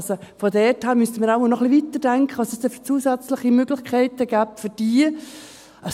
Daher müssten wir wohl noch etwas weiterdenken, dahingehend, welche zusätzliche Möglichkeiten es für diese gäbe.